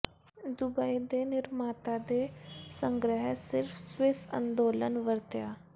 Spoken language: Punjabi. ਦੁਬਈ ਦੇ ਨਿਰਮਾਤਾ ਦੇ ਸੰਗ੍ਰਹਿ ਸਿਰਫ਼ ਸਵਿੱਸ ਅੰਦੋਲਨ ਵਰਤਿਆ